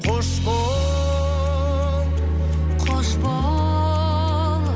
қош бол қош бол